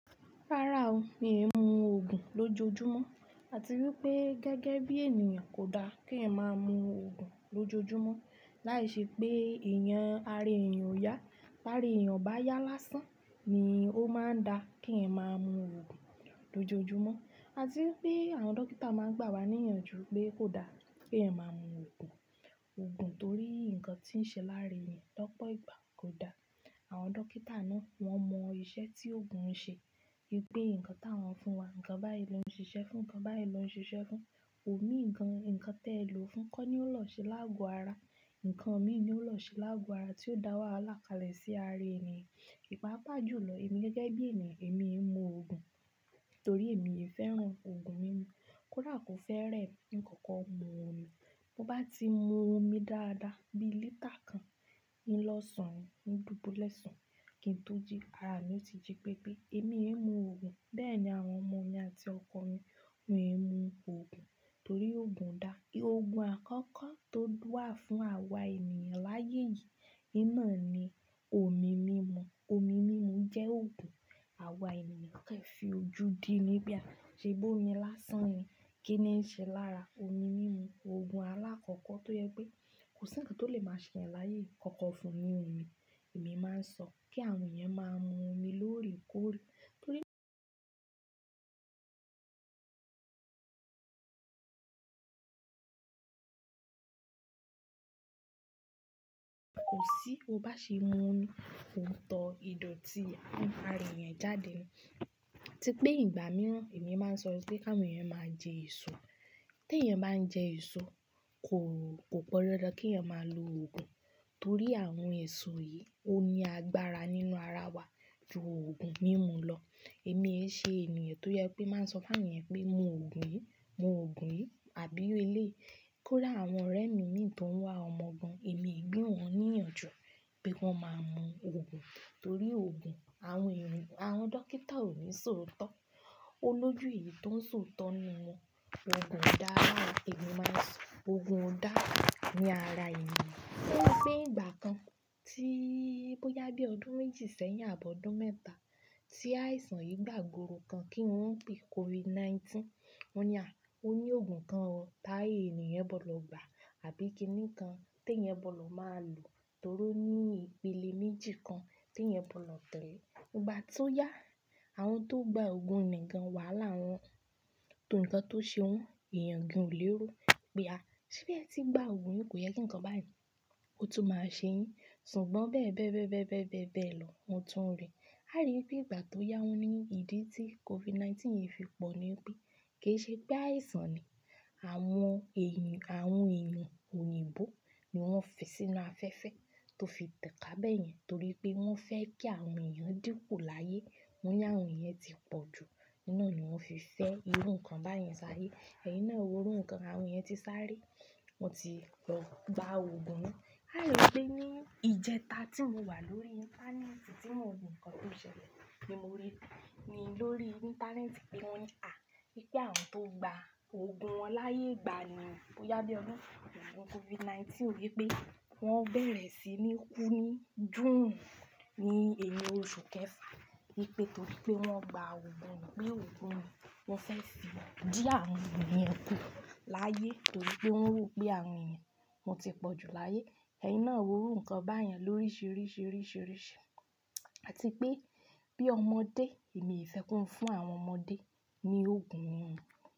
Rárá o, mi e mú òògùn lójoojúmọ́. Ati wípé gẹ́gẹ́ bí ènìyàn kò da kí ẹ máa mú òògùn lójoojúmọ́. Láìṣẹ pé èèyàn, ara èèyàn ò yá. Táre èèyàn bá yá lásán ni ó máa ń da kí eeyan máa mú òògùn lójoojúmọ́. Àti wípé àwọn dókítà máa ń gbà wá ní ìyanjú pé kò da kí ẹeyan máa mú òògùn, òògùn torí nǹkan tí ń ṣe lára èèyàn lọ́pọ̀ ìgbà kò da. Àwọn dókítà náà wọ́n mọ iṣẹ́ tí òògùn ń ṣe. Wípé nǹkan táwọn fún wa, nǹkan báyìí ló ń ṣiṣẹ́ fún, nǹkan báyìí ló ń ṣiṣẹ́ fún. Òmi gan, nǹkan tẹ lo fún kọ́ ni ó lọ ṣe láàgò ara. Nǹkan mii ni ó ń lọ ṣe láàgò ara tí ó dá wàhálà kalẹ̀ sí ara èèyàn. Ìpàpá jù lọ, èmi gẹ́gẹ́ bí ènìyàn èmi ò mú òògùn torí èmi e fẹ́ràn òògùn mímu. Kódà kò fẹ́ rè mí, ìn kókó mu omi. Mo bá ti mu omi dáadáa bií lítà kan ín lo sun ni, ín dùbúlè sùn, kí n tó jí, ara mi ó ti jí pépé, èmi ee mú òògùn. Bẹ́ẹ̀ ni àwọn ọmọ mi àti ọkọ mi won e mú òògùn torí òògùn o da. Òògùn àkọ́kọ́ tó wà fún àwa ènìyàn láyé yìí in naa ni omi mímu. Omi mímu jẹ́ òògùn. Àwa ènìyàn kẹ̀ fi ojú dí ní wípé ah, ṣe bómi lásán ni, kíni ń ṣe lára? Omi mímu, òògùn alákọ́kọ́ tó yẹ pé kò sí nǹkan tó lè máa ṣe yẹn láyé. Kọ́kọ́ fún ni omi. Èmi máa sọ kí àwọn èèyàn máa mu omi loorekoore torí kò sí, o bá ṣe mu omi, òún tọ ìdòtí ara èèyàn jáde. Típé ìgbà mìíràn èmi máa sọ sí pé kí àwọn èèyàn máa jẹ èso. Tí èèyàn bá ń jẹ èso kò, kò pan dandan kí èèyàn máa lo òògùn torí àwọn èso yìí ó ní agbára nínú ara wa ju òògùn mímu lọ. Èmi e ṣe ènìyàn tó jẹ pé máa ń sọ fún èèyàn pé mu òògùn yìí, mu òògùn yìí, àbí iru eleii. Kóda àwọn ọ̀rẹ́ mi mìí tó ń wá ọmọ gan, èmi ee gbi wọn ní ìyanjú pé ki wọn máa mú òògùn torí òògùn àwọn èèyàn, àwọn dókítà ò ní sọ òótọ́. Olójú èyí tó ń sọ òótọ́ ni wọ́n. Òògùn o dá lára, èmi máa sọ òògùn o dá ni ara èèyàn. Tori pé ìgbà kan tí bó yá bí ọdún méjì sẹ́yìn àbọ ọdún mẹ́ta tí àìsàn yìí gbàgboro kan kí wọ́n ń pè COVID-19. Wọ́n ní à o ní òògùn kan o tá èniyàn bo lò gbà àbí kíni kan tí èèyàn bo lò máa lò torí ó ní ìpele méjì kan tí èèyàn bo lò tẹ̀lé. Ìgbà tí ó yá, àwọn tó gba òògùn nìkan wàhálà wọn, ǹkan tó ṣe wọ́n èèyàn gan o léró wípé a, ṣebi ẹ ti gba òògùn yìí kò yẹ kí nǹkan báyìí ó tún máa ṣe yín. Ṣùgbọ́n bẹ́ẹ̀ bẹ́ẹ̀ bẹ́ẹ̀ bẹ́ẹ̀ bẹ́ẹ̀ bẹ́ẹ̀ lọ, won tún rì. A rí wípé ìgbà tó yá wọ́n ní ìdí tí COVID-19 yìí fi pọ̀ ni wípé kìi ṣe pé àìsàn ni àwọn èèyàn, àwọn èèyàn òyìnbó ni wọ́n fi sínú afẹ́fẹ́ tó fi tẹ̀ká bẹ̀yẹn torí pé wọ́n fẹ́ kí àwọn èèyàn díkùn láyé. Wọ́n ní àwọn èèyàn ti pọ̀ jù, nínú ni wọ́n fi fẹ́ irú nǹkan báyen sáye. Ẹ̀yin náà e wo ru nǹkan, àwọn èèyàn ti sáré, wọ́n ti lọ gba òògùn náà. A rí i pé ní ìjẹta tí mo wà lórí íńtánẹ́ẹ̀tì tí mo n wo nǹkan tó ṣẹlẹ̀ ni mo rí i lórí íńtánẹ́ẹ̀tì pé wọ́n ní à, pé kí àwọn tó gba òògùn wọn láyé ìgbà ni bó yá bí ọdún oogun COVID-19 wi pé wọ́n bẹ̀rẹ̀ sí ní kú ní June, ní ẹni oṣù kẹfà nípé torí pé wọ́n gba òògùn nii. Pé òògùn nìí ń fẹ́ fi dí àwọn eniyàn kú láyé torí pé wọ́n ro pé àwọn èèyàn wọ́n ti pọ̀ jù láyé. Ẹ̀yin náà wo ru nǹkan báyen lóríṣiríṣirisirisi. Àti pé bí ọmọdé, èmi ò fẹ́ kí wọ́n fún àwọn ọmọdé ní òògùn mímu.